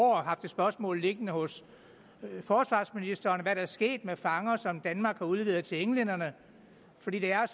år haft et spørgsmål liggende hos forsvarsministeren om hvad der er sket med fanger som danmark har udleveret til englænderne for det er